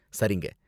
சரிங்க.